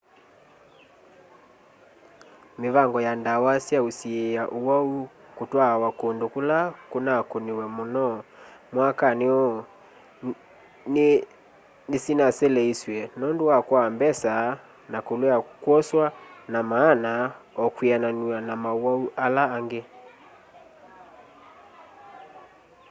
mĩvango ya ndawa sya usiĩa ũwau kũtwaawa kũndũ kũla kũnakũniwe mũno mwakani ũũ nĩsinaseleisw'e nũndũ wa kwaa mbesa na kulea kwoswa na maana ũkwiananw'a na maũwau ala angĩ